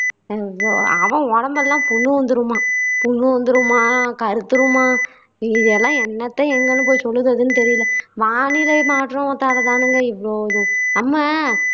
அ அவன் உடம்பெல்லாம் புண்ணு வந்துருமாம் புண்ணு வந்துருமாம் கருத்துருமாம் இ இதெல்லாம் என்னத்த எங்கன்னு போய் சொல்லுறதுன்னு தெரியல வானிலை மாற்றத்தாலதானுங்க இவ்ளோவும் நம்ம